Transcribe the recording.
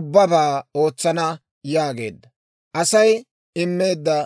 ubbabaa ootsana» yaageedda.